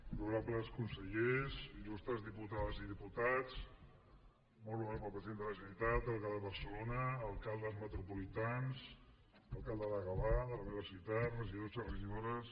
honorables consellers il·lustres diputades i diputats molt honorable president de la generalitat alcalde de barcelona alcaldes metropolitans alcalde de gavà de la meva ciutat regidors i regidores